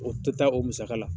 O tɛ taa o musaka la